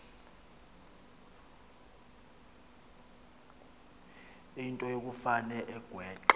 into yokufane agweqe